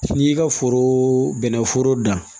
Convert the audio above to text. N'i y'i ka foro bɛnɛforo dan